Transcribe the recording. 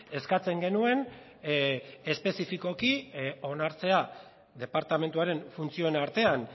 eskatzen genuen espezifikoki onartzea departamentuaren funtzioen artean